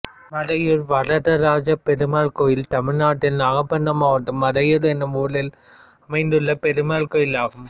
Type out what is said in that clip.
மறையூர் வரதராஜபெருமாள் கோயில் தமிழ்நாட்டில் நாகபட்டினம் மாவட்டம் மறையூர் என்னும் ஊரில் அமைந்துள்ள பெருமாள் கோயிலாகும்